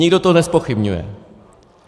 Nikdo to nezpochybňuje.